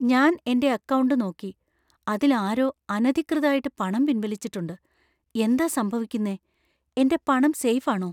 ഞാൻ എന്‍റെ അക്കൗണ്ട് നോക്കി , അതിൽ ആരോ അനധികൃതായിട്ട് പണം പിൻവലിച്ചിട്ടുണ്ട്. എന്താ സംഭവിക്കുന്നേ? എന്‍റെ പണം സേഫ് ആണോ?